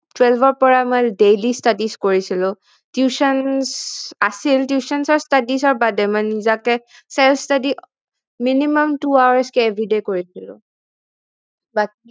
Twelve ৰ পৰা আমাৰ daily studies কৰিছিলো tuition আছিল tutions ৰ studies ৰ বাদে মানে নিজাকে self study minimum two hours কে everyday কৰিছিলো